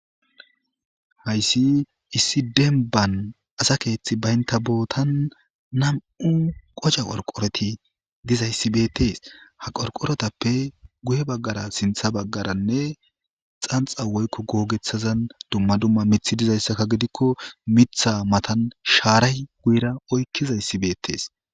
Hayssi issi demban assa keththi bantha boththan nammu' qocha qorqorithi diayssi bethess. Ha qorqorothappe guye bagar sinththa bagarane xanxa woykko gogethazan dumma dumma miththa dizayssakka gidikko Mitha mathan sharayi guyera oyqizaysi bethes.